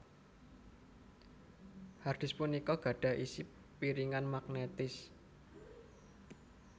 Hard disk punika gadhah isi piringan magnetis